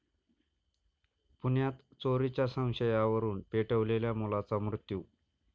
पुण्यात चोरीच्या संशयावरुन पेटवलेल्या मुलाचा मृत्यू